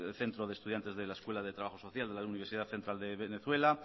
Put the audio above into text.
centro de estudiantes de la escuela de trabajo social de la universidad central de venezuela